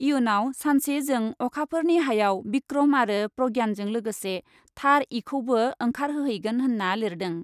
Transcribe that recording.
इयुनाव सानसे जों अखाफोरनि हायाव बिक्रम आरो प्रज्ञानजों लोगोसे थार इखौबो ओंखारहोयैगोन' होन्ना लिरदों ।